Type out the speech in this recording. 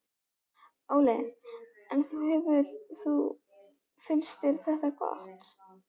Óli: En þú hefur þú, finnst þér þetta gott?